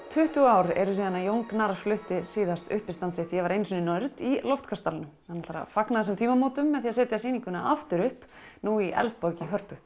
tuttugu ár eru síðan Jón Gnarr flutti síðast uppistand sitt ég var einu sinni í loftkastalanum hann ætlar að fagna þessum tímamótum með því að setja sýninguna aftur upp nú í Eldborg í Hörpu